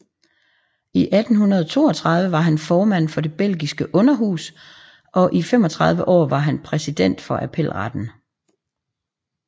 I 1832 var han formand for det belgiske underhus og i 35 år var han præsident for appelretten